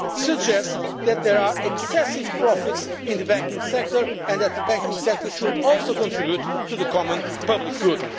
money suggest that there are excessive profits in the banking sector and that the banking sector should also contribute to the common public